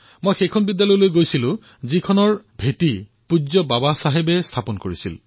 মই সেই বিদ্যালয়লৈ গলো যাৰ স্থাপনা স্বয়ং পূজ্য বাবা চাহেবে কৰিছিল